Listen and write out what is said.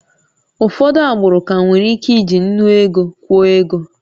Ụfọdụ agbụrụ ka nwere ike iji nnu ego kwụọ ego